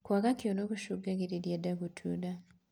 Kwaga kioro gucungagirirĩa ndaa gutuura